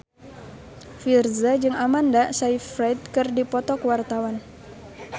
Virzha jeung Amanda Sayfried keur dipoto ku wartawan